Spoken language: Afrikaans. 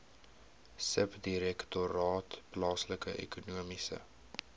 subdirektoraat plaaslike ekonomiese